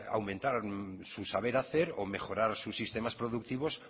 aumentar su saber hacer o mejorar sus sistemas productivos